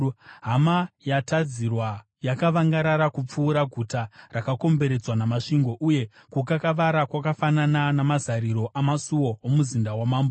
Hama yatadzirwa yakavangarara kupfuura guta rakakomberedzwa namasvingo, uye kukakavara kwakafanana namazariro amasuo omuzinda wamambo.